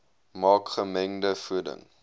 maak gemengde voeding